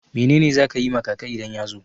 Mene ne za ka yi ma kaka idan ya zo?